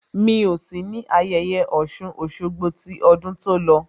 Mi ò sí ní ayẹyẹ Ọ̀ṣun Òṣogbo ní ọdún tó lọ